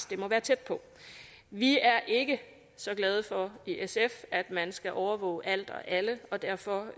det må være tæt på vi er ikke så glade for i sf at man skal overvåge alt og alle og derfor